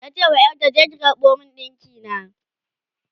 tace wa ƴarta "je ki karɓo min dinki na!"